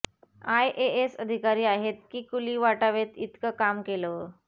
IAS अधिकारी आहेत की कुली वाटावेत इतकं काम केलं